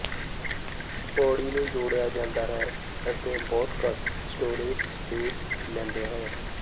ਪੌੜੀ ਨੂੰ ਜੋੜਿਆ ਜਾਂਦਾ ਹੈ ਅਤੇ ਬਹੁਤ ਘੱਟ ਸਟੋਰੇਜ ਸਪੇਸ ਲੈਂਦਾ ਹੈ